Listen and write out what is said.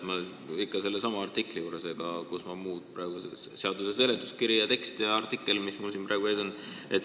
Mul on ikka veel ees seesama artikkel ja ka muud materjalid ehk siis seaduseelnõu tekst ja seletuskiri.